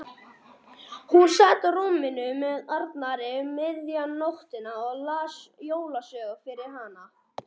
Hún sat á rúminu með Arnari um miðjan daginn og hann las jólasögu fyrir hana.